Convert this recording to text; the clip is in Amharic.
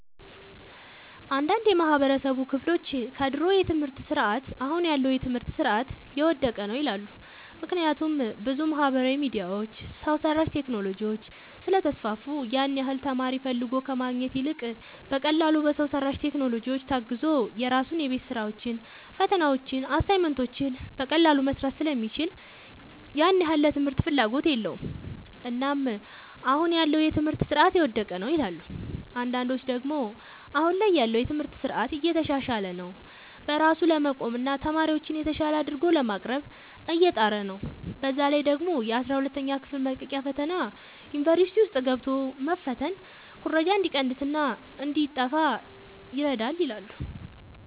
አንዳንድ የማህበረሰቡ ክፍሎች ከድሮ የትምህርት ስርዓት አሁን ያለው የትምህርት ስርዓት የወደቀ ነው ይላሉ። ምክንያቱም ብዙ ማህበራዊ ሚዲያዎች፣ ሰው ሰራሽ ቴክኖሎጂዎች ስለተስፋፉ ያን ያህል ተማሪ ፈልጎ ከማግኘት ይልቅ በቀላሉ በሰው ሰራሽ ቴክኖሎጂዎች ታግዞ የራሱን የቤት ስራዎችን፣ ፈተናዎችን፣ አሳይመንቶችን በቀላሉ መስራት ስለሚችል ያን ያህል ለትምህርት ፍላጎት የለውም። እናም አሁን ያለው የትምህርት ስርዓት የወደቀ ነው ይላሉ። አንዳንዶች ደግሞ አሁን ላይ ያለው የትምህርት ስርዓት እየተሻሻለ ነው። በራሱ ለመቆምና ተማሪዎችን የተሻለ አድርጎ ለማቅረብ እየጣረ ነው። በዛ ላይ ደግሞ የአስራ ሁለተኛ ክፍል መልቀቂያ ፈተና ዩኒቨርሲቲ ውስጥ ገብቶ መፈተን ኩረጃ እንዲቀንስና እንዲጣፋ ይረዳል ይላሉ።